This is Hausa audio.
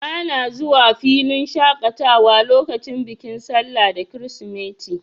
Bana zuwa filin shaƙatawa lokacin bikin sallah da kirisimeti.